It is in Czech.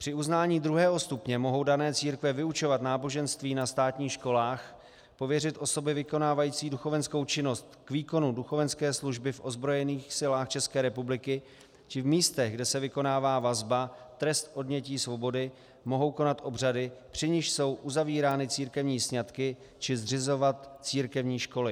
Při uznání druhého stupně mohou dané církve vyučovat náboženství na státních školách, pověřit osoby vykonávající duchovenskou činnost k výkonu duchovenské služby v ozbrojených silách České republiky či v místech, kde se vykonává vazba, trest odnětí svobody, mohou konat obřady, při nichž jsou uzavírány církevní sňatky, či zřizovat církevní školy.